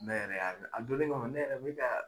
Ne yɛrɛ y'a a donnin kama ne yɛrɛ bɛ ka